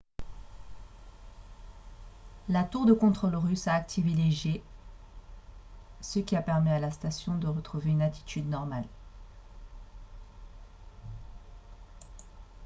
la tour de contrôle russe a activé les jets ce qui a permis à la station de retrouver une attitude normale